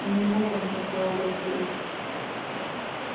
не мог он такое вытворить